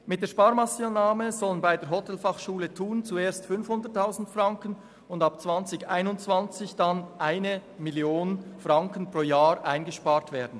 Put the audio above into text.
Mit der Sparmassnahme sollen bei der Hotelfachschule Thun zuerst 500 000 Franken, und ab 2021 schliesslich 1 Mio. Franken pro Jahr eingespart werden.